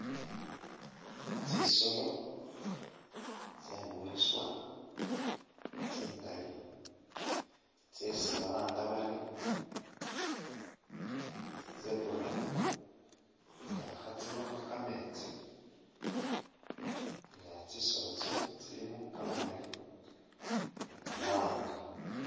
Tsisolo tse mwiswa tsingali tsesi balanga bari tsi zebra nga kha tsi’nwakho kametsi nga tsisolo tsino tsilimo kamamali ni kamawanga.